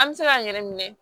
An bɛ se k'an yɛrɛ minɛ